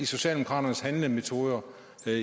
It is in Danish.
socialdemokraternes handlemetoder